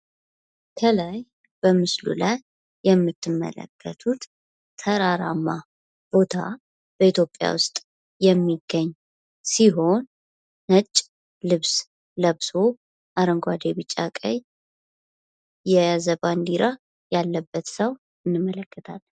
ከላይ በምስሉ ላይ የምትመለከቱት ተራራማ ቦታ በኢትዮጲያ ውስጥ የሚገኝ ሲሆን ነጭ ልብስ ለብሶ አረንጓዴ፣ ቢጫ፣ ቀይ የያዘ ባንዲራ ያለበት ሰው እንመለከታለን።